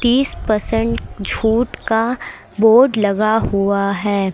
तीस परसेंट छूट का बोर्ड लगा हुआ है।